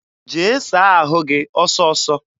Jee saa ahụ gị ọsọọsọ!